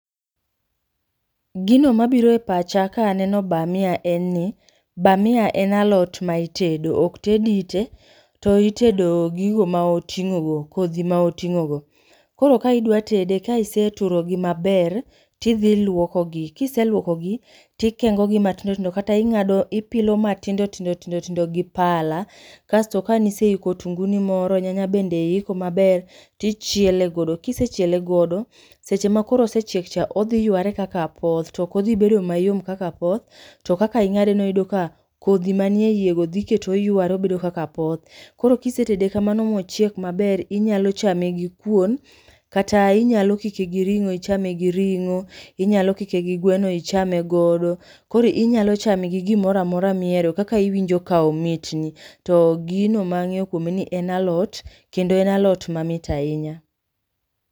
Gino mabiro e pacha ka aneno bamia en ni bamia en alot ma itedo, ok ted ite to itedo gigo ma oting'ogo, kodhi ma oting'ogo. Koro ka idwatede ka iseturogi maber tidhiluokogi kiseluokogi tikengogi matindotindo kata ipilo matindotindo tindo tindo gi pala kasto kanise iko otunguni moro nyanya bende iiko maber tichiele godo kisechiele godo seche makoro osechiekcha odhiyware kaka apoth tokodhibedo mayom kaka apoth to kaka ing'adeno iyudo ka kodhi manie iyego dhikete oyware obedo kaka apoth. Koro kisetede kamano mochiek maber inyalo chame gi kuon kata inyalo kike gi ring'o ichame gi ring'o inyalo kike gi gweno ichame godo koro inyalo chame gi gimoro amora miero kaka iwinjo ka omitni to gino mang'eyo kuome en ni en alot kendo en alot mamit ahinya.